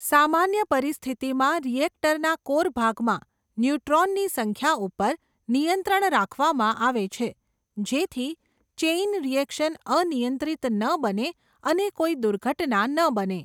સામાન્ય પરિસ્થિતિમાં, રિએક્ટરનાં કોર ભાગમાં, ન્યુટ્રોનની સંખ્યા ઉપર, નિયંત્રણ રાખવામાં આવે છે, જેથી ચેઈન રિએકશન અનિયંત્રીત ન બને અને કોઈ દુર્ઘટના ન બને.